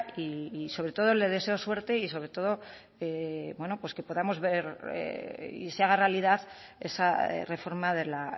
y sobre todo le deseo suerte y sobre todo bueno pues que podamos ver y se haga realidad esa reforma de la